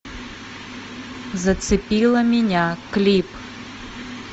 зацепила меня клип